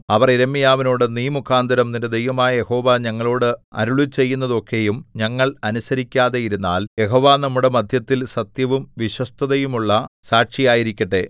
അവർ യിരെമ്യാവിനോട് നീ മുഖാന്തരം നിന്റെ ദൈവമായ യഹോവ ഞങ്ങളോട് അരുളിച്ചെയ്യുന്നതൊക്കെയും ഞങ്ങൾ അനുസരിക്കാതെ ഇരുന്നാൽ യഹോവ നമ്മുടെ മദ്ധ്യത്തിൽ സത്യവും വിശ്വസ്തതയുമുള്ള സാക്ഷിയായിരിക്കട്ടെ